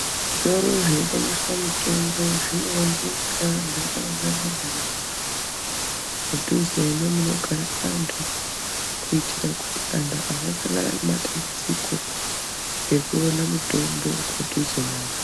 Zvitoro zvinotengeswa mitombo zvinoonekwa mudhuze nemunogara vantu kuitira kuti vantu vasasangana nematambudziko ekuona mutombo padhuze navo.